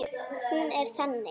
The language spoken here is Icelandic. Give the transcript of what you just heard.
Hún er þannig